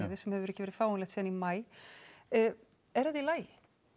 sem hefur ekki verið fáanlegt síðan í maí er þetta í lagi